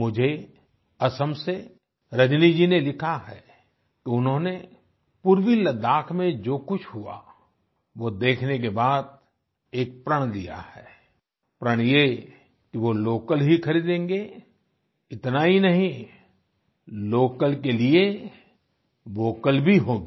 मुझे असम से रजनी जी ने लिखा है उन्होंने पूर्वी लद्दाख में जो कुछ हुआ वो देखने के बाद एक प्रण लिया है प्रण ये कि वो लोकल ही खरीदेंगे इतना ही नहीं लोकल के लिए वोकल भी होगी